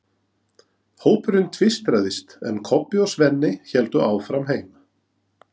Hópurinn tvístraðist, en Kobbi og Svenni héldu áfram heim.